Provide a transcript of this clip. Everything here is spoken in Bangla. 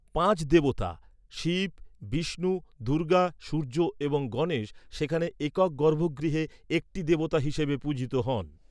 পাঁচ দেবতা শিব, বিষ্ণু, দুর্গা, সূর্য এবং গণেশ সেখানে একক গর্ভগৃহে একটি দেবতা হিসাবে পূজিত হন।